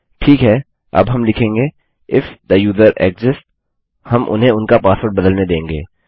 ठीक है अब हम लिखेंगे इफ थे यूजर एक्सिस्ट्स हम उन्हें उनका पासवर्ड बदलने देंगे